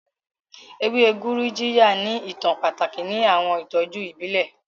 Ewe Gurujiya ni itan pataki ni awọn itọju ibile.